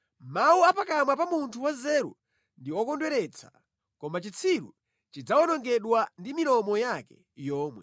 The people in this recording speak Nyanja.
Mawu a pakamwa pa munthu wanzeru ndi okondweretsa, koma chitsiru chidzawonongedwa ndi milomo yake yomwe.